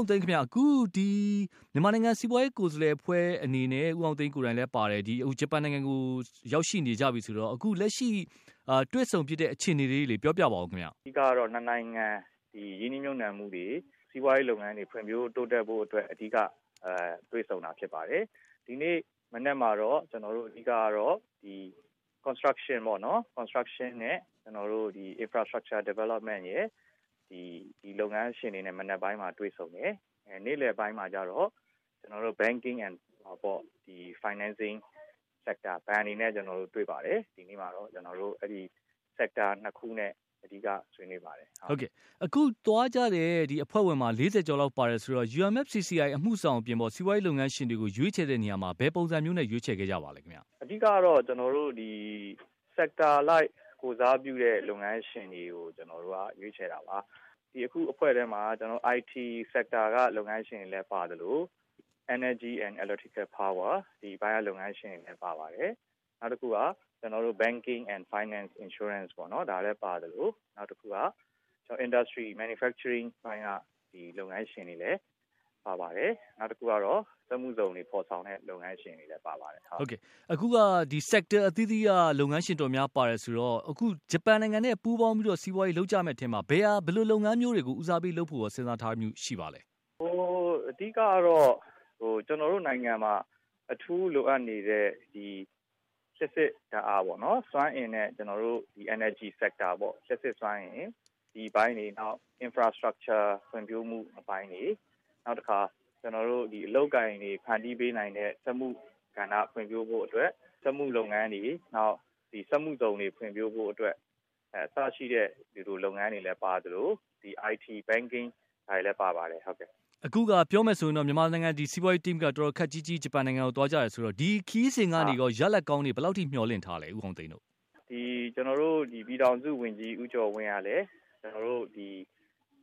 ာင်သိန်းခင်ဗျ အခုဒီ မြန်မာနိုင်ငံစီးပွားရေးကိုယ်စားလှယ်အဖွဲ့အနေနဲ့ ဦးအောင်သိန်း လည်းပါတယ် အခုဂျပန်နိုင်ငံကို ရောက်ရှိနေကြပြီဆိုတော့ အခုလက်ရှိတွေ့ဆုံဖြစ်တဲ့အခြေအနေလေးတွေကို ပြောပြပါခင်ဗျ။ အဓိကတော့ ၂ နိုင်ငံရင်းနှီးမြှုပ်နှံမှုတွေ စီးပွားရေးလုပ်ငန်းတွေ ဖွံ့ဖြိုးတိုးတက်ဖို့အတွက် အဓိကတွေ့ဆုံတာဖြစ်ပါတယ်။ ဒီနေ့မနက်မှာတော့ ကျနော်တို့ အဓိက Construction ပေ့ါနော် Construction နဲ့ Infrastructure development အတွက် ဒီလုပ်ငန်းရှင်တွေနဲ့ ဒီမနက်ပိုင်းမှာတွေ့တယ်။ နေ့လည်ပိုင်းမှာတော့ Banking and Financing sector ဘဏ်တွေနဲ့ ကျနော်တို့ တွေ့ပါတယ်။ ဒီနေ့မှာတော့ sector ၂ ခုနဲ့ အဓိကဆွေးနွေးပါတယ်။ အခုသွားကြတဲ့အဖွဲ့ဝင်တွေမှာ ၄၀ ကျော် ပါတယ်ဆိုတော့ UMFCCI အမှုဆောင်အပြင်ပေါ့ စီးပွားရေးလုပ်ငန်းရှင်တွေကို ရွေးချယ်တဲ့နေရာမှာ ဘယ်ပုံစံမျိုးနဲ့ ရွေးချယ်ခဲ့ကြပါသလဲ ။ အဓိကတော့ ကျနော်တို့ဒီ Sector အလိုက်ကိုယ်စားပြုတဲ့လုပ်ငန်းရှင်တွေကို ကျနော်တို့က ရွေးချယ်တာပါ။ ဒီအခုအဖွဲ့ထဲမှာ IT sector ကလုပ်ငန်းရှင်တွေလည်းပါသလို၊ Energy and electrical powerကလုပ်ငန်းရှင်တွေလည်းပါပါတယ်။ နောက်တခုက Banking and Finance insurance လည်းပါသလို၊ Industry manufacturing ကလုပ်ငန်းရှင်တွေလည်းပါပါတယ်။ နောက်တခုကစက်မှုဇုံတွေ ဖော်ဆောင်တဲ့ လုပ်ငန်းရှင်တွေလည်း ပါပါတယ်။ အခုက Sector အသီးသီးက လုပ်ငန်းရှင်တွေလည်း ပါတယ်ဆိုတော့ ဂျပန်နိုင်ငံနဲ့ ပူးပေါင်းပြီးတော့ စီးပွားရေးလုပ်ကြမယ့်အထဲမှာ ဘယ်လိုလုပ်ငန်းမျိုးတွေကို ဦးစားပေး လုပ်ဖို့ စဉ်းစားထားတာ ရှိပါသလဲ။ အဓိကတော့ ကျနော်တို့နိုင်ငံမှာ အထူးလိုအပ်နေတဲ့ ဒီလျှပ်စစ်ဓါတ်အားပေါ့နော် စွမ်းအင် နဲ့ ကျနော်တို့ Energy Sector ပေါ့ ဒီအပိုင်းတွေနောက် infrastructure ဖွံ့ဖြိုးမှုအပိုင်းတွေ ၊ နောက်တခါ အလုပ်အကိုင်တွေဖန်တီးပေးနိုင်တဲ့ စက်မှု ကဏ္ဍ ဖွံ့ဖြိုးဖို့အတွက် စက်မှုလုပ်ငန်းတွေ နောက် စက်မှုဇုံတွေ ဖွံ့ဖြိုးဖို့အတွက် အစရှိတဲ့ ဒီလိုလုပ်ငန်းတွေလည်း ပါသလို ဒီ IT Banking တွေလည်း ပါပါတယ်။ အခုပြောမယ်ဆိုရင်တော့ မြန်မာနိုင်ငံစီးပွားရေးအသင်းက တော်တော်ခပ်ကြီးကြီး ဂျပန်နိုင်ငံသွားကြတယ်ဆိုတော့ ဒီခရီးစဉ်ကနေ ရလဒ်ကောင်းတွေ ဘယ်လောက်မျှော်လင့်ထားသလဲ။ ကျနော်တို့ ပြည်ထောင်စုဝန်ကြီး ဦးကျော်ဝင်းကလည်း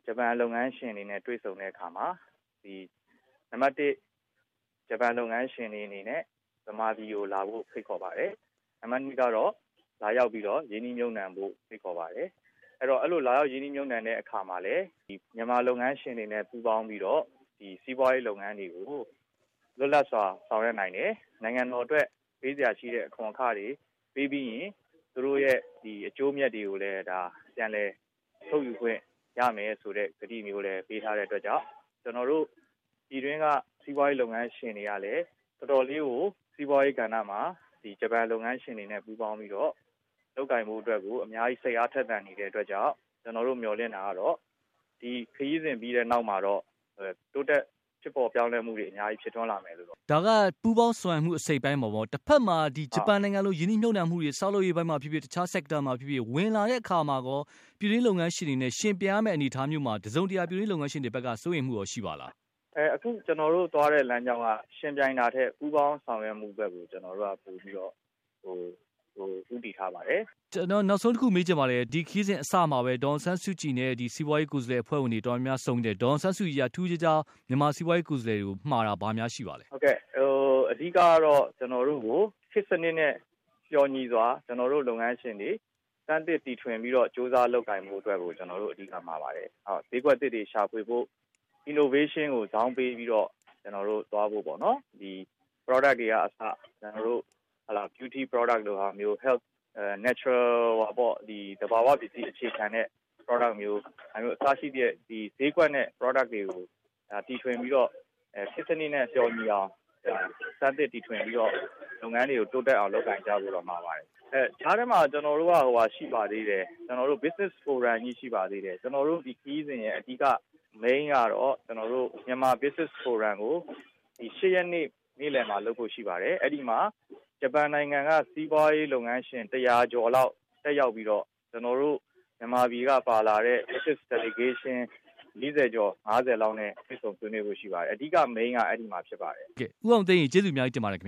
ဂျပန်လုပ်ငန်းရှင်တွေနဲ့ တွေ့ဆုံတဲ့အခါမှာ နံပတ် ဂျပန်လုပ်ငန်းရှင်တွေအနေနဲ့ မြန်မာပြည်ကိုလာဖို့ ဖိတ်ခေါ်ပါတယ်။ နံပတ် ကတော့ လာရောက်ပြီးတော့ ရင်းနှီးမြုပ်နှံဖို့ ဖိတ်ခေါ်ပါတယ်။ အဲလိုလာရောက် ရင်းနှီးမြုပ်နှံတဲ့အခါမှာလည်း မြန်မာလုပ်ငန်းရှင်တွေနဲ့ ပူးပေါင်းပြီးတော့ ဒီစီးပွားရေးလုပ်ငန်းတွေကို လွတ်လပ်စွာဆောင်ရွက်နိုင်တယ်။ နိုင်ငံတော်အတွက် ပေးစရာရှိတဲ့အခွန်ခတွေပေးပြီးရင် သူတို့အတွက် အကျိုးအမြတ်တွေကိုလည်း ပြန်လည်ထုတ်ယူခွင့်ရမယ်ဆိုတဲ့ ကတိမျိုးလည်းပေးထားတဲ့အတွက်ကြောင့် ကျနော်တို့ ပြည်တွင်းက စီးပွားရေးလုပ်ငန်းရှင်တွေကလည်း တော်တော်လေးကို စီးပွားရေး ကဏ္ဍ မှာ ဂျပန်လုပ်ငန်းရှင်တွေနဲ့ ပူးပေါင်းပြီးတော့ လုပ်ကိုင်ဖို့အတွက်ကို အများကြီးစိတ်အားထက်သန်နေတဲ့အတွက်ကြောင့် ကျနော်တို့ မျှော်လင့်တာကတော့ ဒီခရီးစဉ်ပြီးတဲ့နောက်မှာ တိုးတက်မူတွေဖြစ်ထွန်း လာမယ်လို့တော့ထင်ပါတယ်။ ဒါက ပူးပေါင်းဆောင်ရွက်မှုအစိတ်အပိုင်းမှာပေါ့ တဘက်မှာ ဒီ ဂျပန်နိုင်ငံလို ရင်းနှီးမြုပ်နှံတွေ ဆောက်လုပ်ရေးအပိုင်းမှာဖြစ်ဖြစ် တခြား sector မှာဖြစ်ဖြစ်ဝင် လာတဲ့အခါမှာရော ပြည်တွင်းလုပ်ငန်းရှင်တွေနဲ့ ယှဉ်ပြိုင်ရမယ့် အနေအထားမျိုးမှာ တစုံတရာ ပြည်တွင်းလုပ်ငန်းရှင်တွေဘက်က စိုးရိမ်မှုကော ရှိပါသလား။ အခုကျနော်တို့ သွားတဲ့ လမ်းကြောင်းက ယှဉ်ပြိုင်တာထက် ပူးပေါင်းဆောင်ရွက်မူဘက်ကိုပိုပြီးတော့ ကျနော်တို့ ဦးတည်ထားပါတယ်။ ကျနော်နောက်ဆုံးတခုမေးချင်ပါတယ် ဒီခရီးစဉ်အစမှာပဲ ဒေါ်အောင်ဆန်းစုကြည်နဲ့ စီးပွားရေးကိုယ်စားလှယ်တွေ တော်တော်များများဆုံဖြစ်တယ်။ ဒေါ်အောင်ဆန်းစုကြည်က ထူးထူးခြားခြား မြန်မာ စီးပွားရေးကိုယ်စားလှယ်တွေကို မှာတာ ဘာများရှိပါသလဲ။ ဟုတ်ကဲ့အဓိကတော့ ကျနော်တို့ကို ခေတ်စနစ်နဲ့ လျော်ညီစွာ ကျနော်တို့ လုပ်ငန်းရှင်တွေ စမ်းသစ်တီထွင်ပြီးတော့ ကြိုးစားလုပ်ကိုင်ဖို့အတွက်ကို ကျနော်တို့ကို အဓိက မှာပါတယ်။ ဈေးကွက်အသစ်တွေရှာဖွေဖို့ Innovation ကိုဇောင်းပေးပြီးတော့ ကျနော်တို့သွားဖို့ ပေါ့နော် ၊ Product တွေကအစ Beauty Product လိုမျိုး Health Product သဘာဝပစ္စည်းအခြေခံတဲ့ Productမျိုး၊ ဈေးကွက်နဲ့ Product တွေကို တီထွင်ပြီးတော့ ခေတ်စနစ်နဲ့ လျော်ညီအောင် စမ်းသစ်တီထွင်ပြီးတော့ လုပ်ငန်းတွေကို တိုးတက်အောင်လုပ်ကိုင်ဖို့တွေမှာပါတယ်။ ဒီကြားထဲမှာ ကျနော်တို့ Business forum ကြီးရှိပါသေးတယ်။ ကျနော်တို့ ဒီခရီးစဉ်ရဲ့ အဓိကကတော့ ကျနော်တို့ မြန်မာ Business forum ကို ဒီ ၈ ရက်နေ့ နေ့လည်မှာ လုပ်ဖို့ရှိပါတယ် အဲဒီမှာ ဂျပန်နိုင်ငံက စီးပွားရေးလုပ်ငန်းရှင် ၁၀၀ ကျော်လောက် တက်ရောက်ပြီးတော့ ကျနော်တို့ မြန်မာပြည်ကပါလာတဲ့ Business Delegation ၄၀ ကျော် ၅၀ လောက်နဲ့ တွေ့ဆုံဆွေးနွေးဖို့ရှိပါတယ်။ အဓိက Main ကတော့ အဲဒီမှာဖြစ်ပါတယ်။ ဟုတ်ကဲ့ ဦးအောင်သိန်းရေ ကျေးဇူးအများကြီးတင်ပါတယ်ခင်ဗ